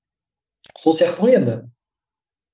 сол сияқты ғой енді